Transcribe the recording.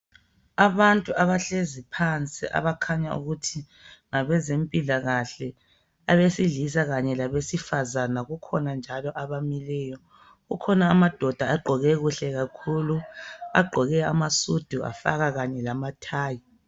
Abantu abahlezi phansi, abakhanya ukuthi ngabezempilakahle, abesilisa kanye labesifazane. Kukhona njalo abamileyo. Kukhona amadoda agqoke kuhle kakhulu, agqoke amasudu, afaka kanye lamathayi.